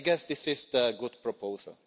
I guess this is a good proposal.